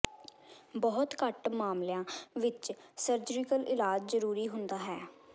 ਬਹੁਤ ਘੱਟ ਮਾਮਲਿਆਂ ਵਿਚ ਸਰਜੀਕਲ ਇਲਾਜ ਜ਼ਰੂਰੀ ਹੁੰਦਾ ਹੈ